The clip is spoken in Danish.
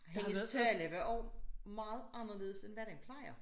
Hendes tale var også meget anderledes end hvad den plejer